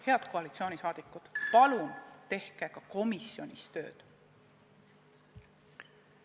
Head koalitsioonisaadikud, palun tehke ka komisjonis tööd!